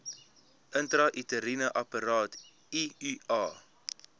intrauteriene apparaat iua